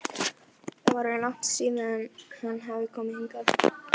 Það var orðið langt síðan hann hafði komið hingað.